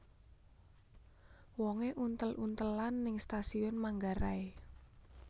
Wonge untel untelan ning Stasiun Manggarai